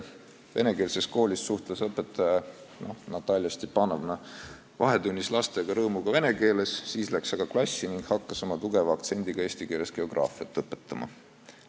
Venekeelses koolis suhtles õpetaja Natalja Stepanovna vahetunnis lastega rõõmuga vene keeles, siis läks aga klassi ning hakkas oma tugeva aktsendiga eesti keeles geograafiat õpetama.